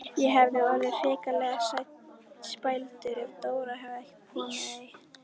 Ég hefði orðið hrikalega spældur ef Dóra hefði komið ein!